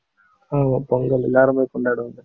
ஆமா, பொங்கல் எல்லாருமே கொண்டாடுவாங்க